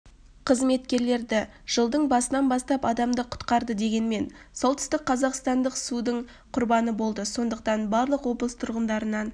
қызметкерлері жылдың басынан бастап адамды құтқарды дегенмен солтүстік қазақстандық судың құрбаны болды сондықтан барлық облыс тұрғындарын